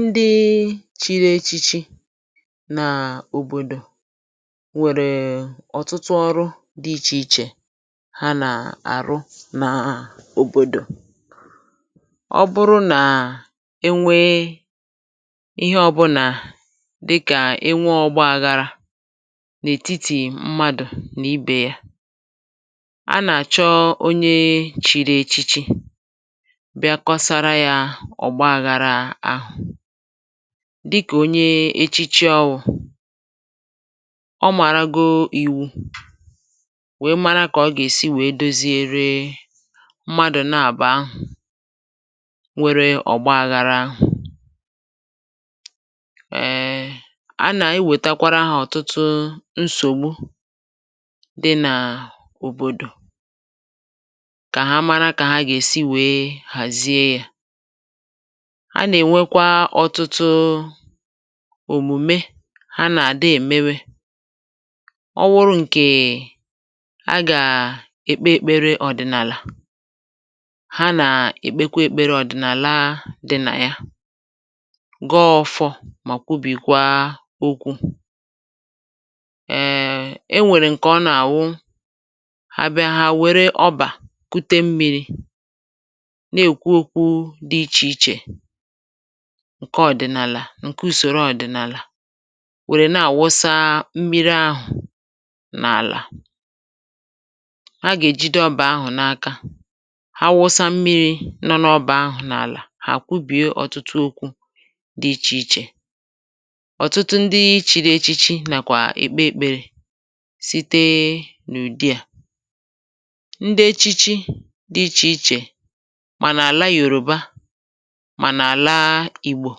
ndị chiri echichi nà òbòdò nwẹ̀rẹ̀ ọ̀tụtụ ọrụ dī ichè ichè ha nà àrụ nà òbòdò. ọ bụrụ nà e nwe ịhẹ ọbụlà dịkà ịnwẹ ogbaghara n’ètitì mmadù nà ibè ya, a nà àchọ onye chiri echichi bịakwasara ya ọ̀gbaghara ahụ̀, dịkà onye echichi ọwụ̄. ọ màràgo iwu, we mara kà o gà èsi we doziere mmadù n’abụ̀ọ̀ ahụ̀ nwere ọ̀gbaghara. ẹ, a nà ewètekwara ha nsògbu dị nà òbòdò, kà ha mara kà a gà èsi wẹ̀ẹ hàzie yā. a nà ẹnwẹ kwa ọtụtụ òmùme ha nà àdị èmebe. ọ wụrụ ǹkè ha gà èkpe èkpere ọ̀dị̀nàlà, ha nà èkpekwe èkpere ọ̀dị̀nàla dị nà ya, gọ ọfọ mà kwubìkwa okwu. ẹ, e nwèrè ǹkè ọ nà àwụ, ha bịa hà èwère ọbà kute mmīrī, nà èkwu okwu dị ichè ichè ǹkè ùsòro ọ̀dị̀nàlà, wẹ nà àwụsa mmiri ahụ̀ n’àlà. hà gà èjide ọbà ahụ̀ n’aka. ha wụsa mmīrī ọbà ahụ̀ n’àlà, hà kwùbìe ọtụtụ okwū dị ichè ichè. ọ̀tụtụ ndị chiri echichi nàkwà èkpe ekpere site n’ụ̀dị à. ndị echichi di ichè ichè, mà nà àla Yòrùba, mà nà àla Ìgbò,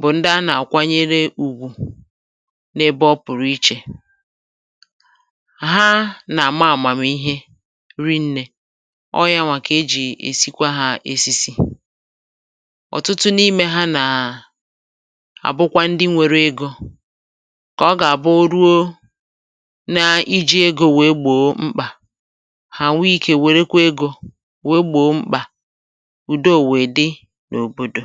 bụ̀ ndị a nà àkwanyere ùgwù n’ebe ọ pụ̀rụ̀ ichè. ha nà àma àmàmihe rinnē. ọ yawà kà e jì èsikwa ha esisi. òtụtụ n’imē ha nà àbụkwa ndị nwere egō, kà ọ gà àbụ o ruo ijì egō wèe gbòo mkpà, hà nwe ikē wèe wèrekwa egō we gbò mkpà, kà ùdo wẹ̀ẹ dị n’òbòdò.